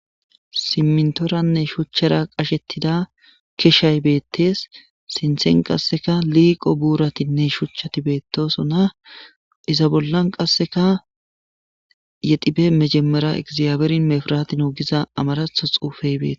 Simintoranne shuchchara qashettida keshay beettees; sinthen qasseka liiqo buuratinne shuchchati beetosona; iza bollan qasseka yexibeb mejemera egzabeerin mefirati new giza amaratho xuufey be...